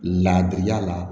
Laadiya la